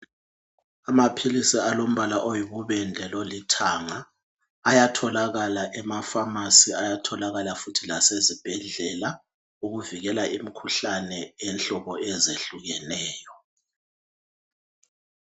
Amaphilisi alombala oyibubende lolithanga ayatholakala ema pharmacy, ayatholakala futhi lase zibhedlela ukuvikela imikhuhlane eyenhlobo ezehlukeneyo.